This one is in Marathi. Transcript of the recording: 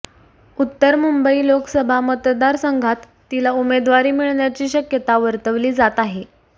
उत्तर मुंबई लोकसभा मतदारसंघात तीला उमेदवारी मिळण्याची शक्यता वर्तवली जात आहे